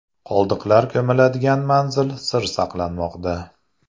Qoldiqlar ko‘miladigan manzil sir saqlanmoqda.